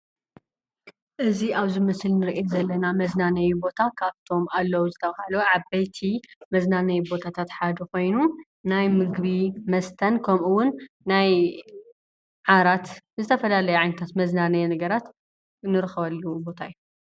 እዚ አብዚ ምስሊ እንሪኦ ዘለና መዝናነይ ቦታ ካብቶም አለው ዝተብሃሉ ዓበይቲ መዝናነይ ቦታታት ሓደ ኾይኑ፤ ናይ ምግቢ፣ መስተን ከምኡውን ናይ ዓራት ዝተፈላለዩ ዓይነታት መዝናነዪ ነገራት እንረኽበሉ ቦታ እዩ፡፡